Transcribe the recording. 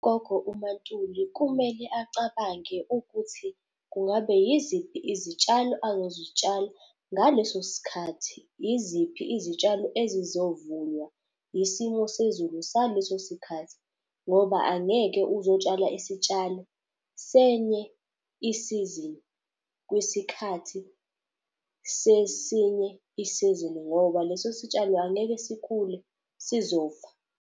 Gogo uMaNtuli kumele acabange ukuthi kungabe yiziphi izitshalo angazitshala ngaleso sikhathi. Iziphi izitshalo ezizovunywa isimo sezulu saleso sikhathi, ngoba angeke uzotshala isitshalo senye isizini kwisikhathi sesinye isizini ngoba leso sitshalo angeke sikhule sizofa.